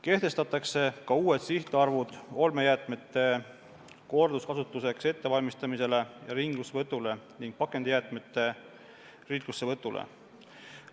Kehtestatakse ka uued sihtarvud olmejäätmete korduskasutuseks ettevalmistamise ja ringlussevõtu kohta ning pakendijäätmete ringlussevõtu kohta.